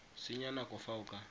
senya nako fa o ka